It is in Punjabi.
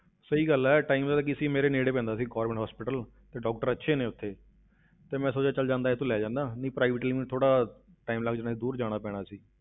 ਸਹੀ ਗੱਲ ਹੈ time ਦਾ ਤਾਂ ਕੀ ਸੀ ਮੇਰੇ ਨੇੜੇ ਪੈਂਦਾ ਸੀ government hospital ਤੇ doctor ਅੱਛੇ ਨੇ ਉੱਥੇ ਤੇ ਮੈਂ ਸੋਚਿਆ ਚੱਲ ਜਾਂਦਾ ਇਹ ਤੋਂ ਲੈ ਜਾਨਾ, ਨਹੀਂ private ਲਈ ਮੈਨੂੰ ਥੋੜ੍ਹਾ time ਲੱਗ ਜਾਣਾ ਸੀ, ਦੂਰ ਜਾਣਾ ਪੈਣਾ ਸੀ।